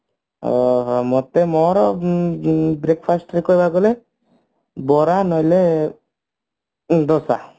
ଓ ହୋ ମତେ ମୋର ଉଁ ହୁଁ breakfast ରେ କହିବାକୁ ଗଲେ ବରା ନହେଲେ ଦୋସା